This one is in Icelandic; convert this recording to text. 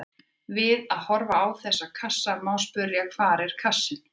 Við að horfa á þessa kassa má spyrja: hvar er kassinn?